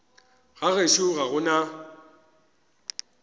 ga gešo ga go na